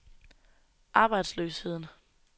arbejdsløsheden